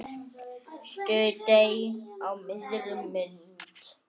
Surtsey á miðri mynd.